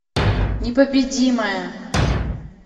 непобедимая